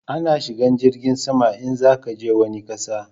A na shigan jirgin sama in za a je wani ƙasa